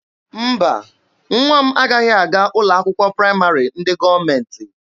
Mba, nwa m agaghị aga ụlọ akwụkwọ praịmarị ndị gọọmenti.